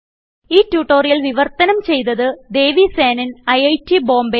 ഈ ട്യൂട്ടോറിയൽ വിവർത്തനം ചെയ്തത് ദേവി സേനൻIIT ബോംബേ